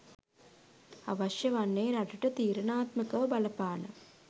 අවශ්‍ය වන්නේ රටට තීරණාත්මකව බලපාන